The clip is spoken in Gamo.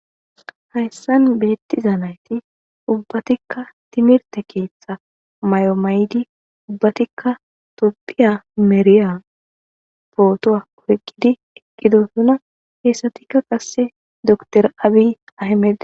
Hayssan beettiza nayti ubbatikka timirte keeththa mayo maydi ubbatikka topphiya meriya pootoa weqqidi eqqidosuna heessatikka qasse door abi ahemedi.